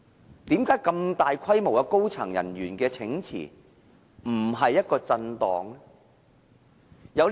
為何這麼大規模的高層人員請辭，不是一種震盪呢？